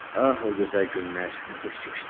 Ah, o gözəl günlər nə tez keçdi.